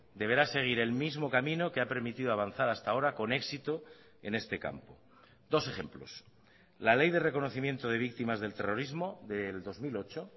deberá seguir el mismo camino que ha permitido avanzar hasta ahora con éxito en este campo dos ejemplos la ley de reconocimiento de víctimas del terrorismo del dos mil ocho